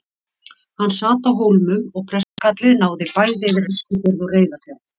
Hann sat á Hólmum og prestakallið náði bæði yfir Eskifjörð og Reyðarfjörð.